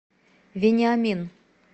вениамин